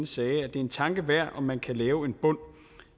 sagde at det er en tanke værd om man kan lave en bund